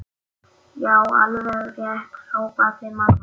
Já, alveg rétt hrópaði mamma.